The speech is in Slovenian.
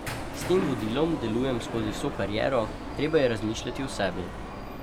S tem vodilom delujem skozi vso kariero, treba je razmišljati o sebi.